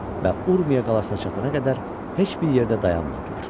Və Urmiya qalasına çatana qədər heç bir yerdə dayanmadılar.